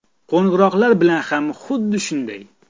Qo‘ng‘iroqlar bilan ham xuddi shunday.